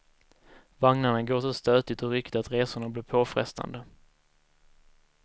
Vagnarna går så stötigt och ryckigt att resorna blir påfrestande.